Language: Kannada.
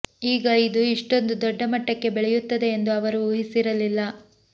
ಆಗ ಇದು ಇಷ್ಟೊಂದು ದೊಡ್ಡ ಮಟ್ಟಕ್ಕೆ ಬೆಳೆಯುತ್ತದೆ ಎಂದು ಅವರು ಊಹಿಸಿರಲಿಲ್ಲ